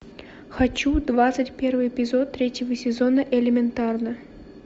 хочу двадцать первый эпизод третьего сезона элементарно